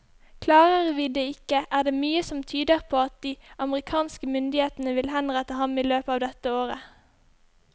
Klarer vi det ikke, er det mye som tyder på at de amerikanske myndighetene vil henrette ham i løpet av dette året.